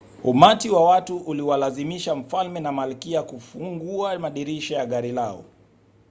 umati wa watu uliwalazimisha mfalme na malkia kufungua madirisha ya gari lao